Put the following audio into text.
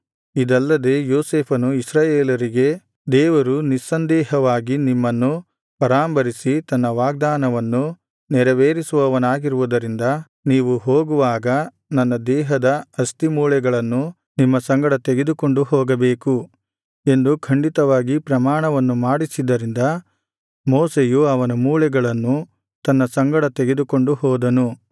ಇದಲ್ಲದೆ ಯೋಸೇಫನು ಇಸ್ರಾಯೇಲರಿಗೆ ದೇವರು ನಿಸ್ಸಂದೇಹವಾಗಿ ನಿಮ್ಮನ್ನು ಪರಾಂಬರಿಸಿ ತನ್ನ ವಾಗ್ದಾನವನ್ನು ನೆರವೇರಿಸುವವನಾಗಿರುವುದರಿಂದ ನೀವು ಹೋಗುವಾಗ ನನ್ನ ದೇಹದ ಅಸ್ತಿಮೂಳೆಗಳನ್ನು ನಿಮ್ಮ ಸಂಗಡ ತೆಗೆದುಕೊಂಡು ಹೋಗಬೇಕು ಎಂದು ಖಂಡಿತವಾದ ಪ್ರಮಾಣವನ್ನು ಮಾಡಿಸಿದ್ದರಿಂದ ಮೋಶೆಯು ಅವನ ಮೂಳೆಗಳನ್ನು ತನ್ನ ಸಂಗಡ ತೆಗೆದುಕೊಂಡು ಹೋದನು